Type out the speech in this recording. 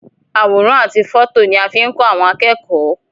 Àwòrán àti fọto ni a fi n kọ àwọn akẹ́kọ̀ọ́.